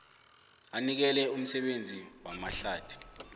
anikele umsebenzi wamahlathi